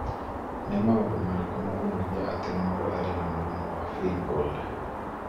Nĩ maũndũ marĩkũ monanagia atĩ mũndũ arĩ na mũrimũ wa Feingold?